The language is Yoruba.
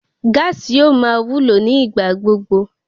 Gáàsì yóò máa wúlò ní ìgbà gbogbo